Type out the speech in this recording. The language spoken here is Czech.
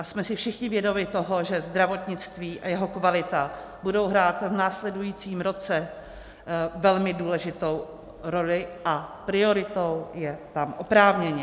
A jsme si všichni vědomi toho, že zdravotnictví a jeho kvalita budou hrát v následujícím roce velmi důležitou roli, a prioritou je tam oprávněně.